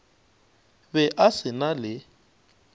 be a se na le